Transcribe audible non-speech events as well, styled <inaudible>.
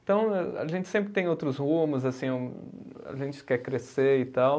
Então a a gente sempre tem outros rumos, assim, <unintelligible> a gente quer crescer e tal.